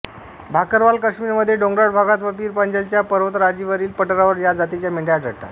भाकरवाल काश्मीरमध्ये डोंगराळ भागात व पीर पंजालच्या पर्वतराजीवरील पठारावर या जातीच्या मेंढ्या आढळतात